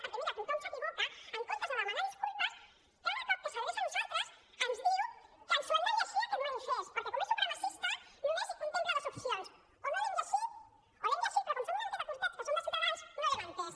perquè mira tothom s’equivoca en comptes de demanar disculpes cada cop que s’adreça a nosaltres ens diu que ens hem de llegir aquest manifest perquè com és supremacista només hi contempla dues opcions o no l’hem llegit o l’hem llegit però com que som una mica curtets que som de ciutadans no l’hem entès